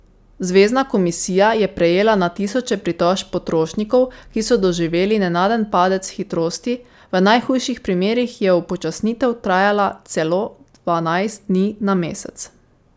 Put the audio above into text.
Zvezna komisija je prejela na tisoče pritožb potrošnikov, ki so doživeli nenaden padec hitrosti, v najhujših primerih je upočasnitev trajala celo dvanajst dni na mesec.